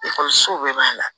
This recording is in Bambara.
Ekɔlisow bɛɛ b'a la